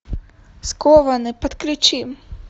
скованный подключи